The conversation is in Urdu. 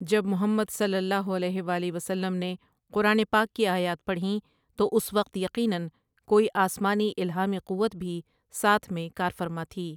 جب محمدۖ نے قرآن پاک کی آیات پڑھیں تو اُس وقت یقینا کوئی آسمانی الہامی قوت بھی ساتھ میں کارفرما تھی ۔